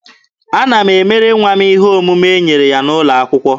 Ana m emere nwa m ihe omume e nyere ya n'ụlọ akwụkwọ.